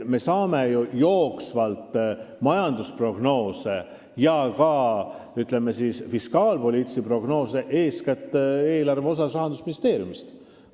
Me saame ju ka jooksvalt majandusprognoose, ütleme, eeskätt eelarve fiskaalpoliitilisi prognoose, Rahandusministeeriumist.